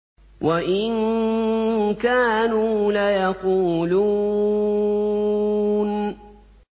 وَإِن كَانُوا لَيَقُولُونَ